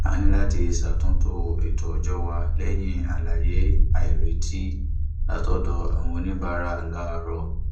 a ní láti ṣàtúntò ètò ọjọ wa lẹyìn àlàyé àìretí látọdọ àwọn oníbàárà láàárọ